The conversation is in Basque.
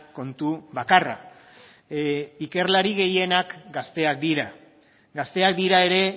kontu bakarra ikerlari gehienak gazteak dira gazteak dira ere